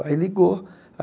Aí, ligou.